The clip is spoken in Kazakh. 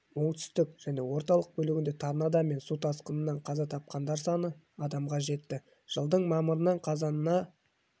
оңтүстік және орталық бөлігінде торнадо мен су тасқынынан қаза тапқандар саны адамға жетті жылдың мамырынан қазанына